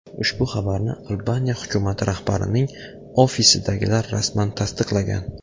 Ushbu xabarni Albaniya hukumati rahbarining ofisidagilar rasman tasdiqlagan.